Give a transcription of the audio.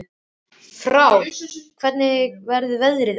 Frár, hvernig verður veðrið á morgun?